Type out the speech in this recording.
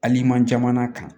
Hali man jamana kan